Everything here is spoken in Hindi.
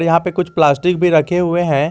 यहां पे कुछ प्लास्टिक भी रखे हुए हैं।